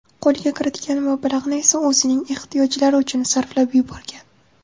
Qo‘lga kiritgan mablag‘ni esa o‘zining ehtiyojlari uchun sarflab yuborgan.